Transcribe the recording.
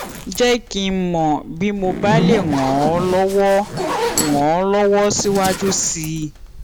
jẹ kí n mọ bí mo bá lè ràn ọ lọwọ ràn ọ lọwọ síwájú sí i